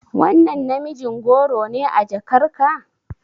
Wannan namijin goro ne a jakarka?